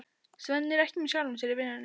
Svenni er ekki með sjálfum sér í vinnunni.